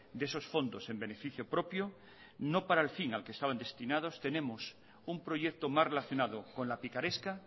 de esos fondos en beneficio propio no para el fin al que estaban destinados tenemos un proyecto mas relacionado con la picaresca